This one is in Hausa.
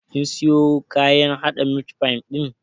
Kin siyo kayan haɗa mit fai ɗin?